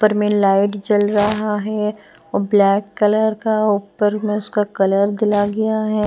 ऊपर में लाइट जल रहा है और ब्लैक कलर का ऊपर में उसका कलर दिला गया है।